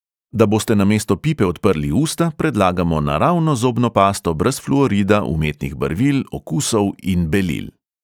Da boste namesto pipe odprli usta, predlagamo naravno zobno pasto brez fluorida, umetnih barvil, okusov in belil.